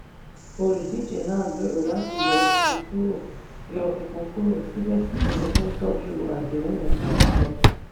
olùdíje náà gbèrò láti yọ epo kúrò yọ epo kúrò síbẹ̀síbẹ̀ ó ń tọ́jú àdéhùn àwùjọ.